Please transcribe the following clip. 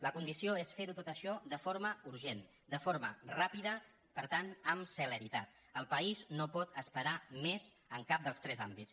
la condició és fer·ho tot això de forma urgent de forma ràpida per tant amb celeritat el país no pot esperar més en cap dels tres àmbits